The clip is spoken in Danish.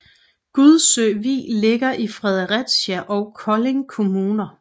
Gudsø Vig ligger i Fredericia og Kolding Kommuner